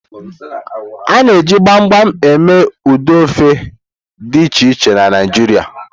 A na-eji mgbam eme ụdị ofe dị iche iche na Naijiria.